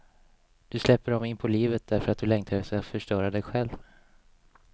Du släpper dem inpå livet därför att du längtar efter att förstöra dig själv.